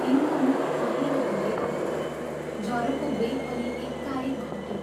तिनको मुख पहेंलो हुँदै आयो, जरोको वेग पनि एकाएक घट्यो।